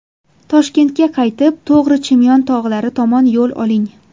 Toshkentga qaytib, to‘g‘ri Chimyon tog‘lari tomon yo‘l oling.